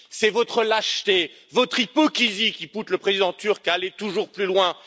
C'est votre lâcheté et votre hypocrisie qui poussent le président turc à aller toujours plus loin.